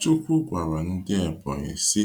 Chukwu gwara ndị Ebonyi sị,